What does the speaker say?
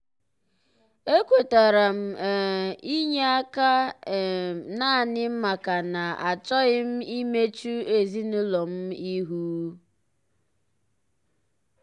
e kwetara m um inye aka um naanị maka na achọghị m imechu ezinụlọ m ihu.